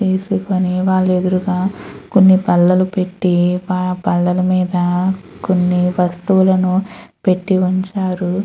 మీద కొన్ని బల్లలు పెట్టి ఆ బల్లల మీద కొన్ని వస్తువులను పెట్టి ఉంచారు.